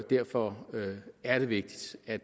derfor er det vigtigt at